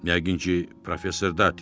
Yəqin ki, Professor Dati.